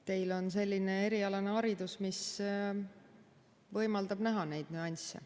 Teil on selline erialane haridus, mis võimaldab näha neid nüansse.